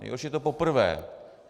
Nejhorší je to poprvé.